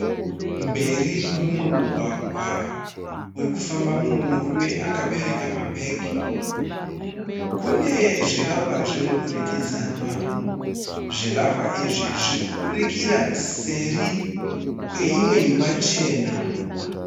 Mberi kwemumwe mugwagwa, uri kufamba mumwe murume akabereka mabhegi, kune zvivakwa zvemudurikidzanwa. Zvivakwa izvi zviri kubudikira seri kweimwe imba chena.